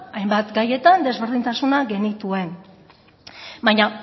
hainbat gaietan ezberdintasunak genituen baina